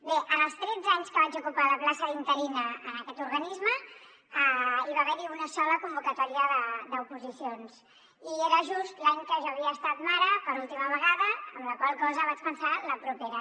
bé en els tretze anys que vaig ocupar la plaça d’interina en aquest organisme hi va haver una sola convocatòria d’oposicions i era just l’any que jo havia estat mare per última vegada amb la qual cosa vaig pensar la propera